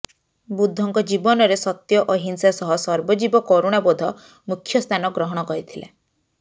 ବୁଦ୍ଧଙ୍କ ଜୀବନରେ ସତ୍ୟ ଅହିଂସା ସହ ସର୍ବଜୀବ କରୁଣାବୋଧ ମୁଖ୍ୟ ସ୍ଥାନ ଗ୍ରହଣ କରିଥିଲା